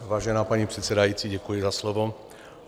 Vážená paní předsedající, děkuji za slovo.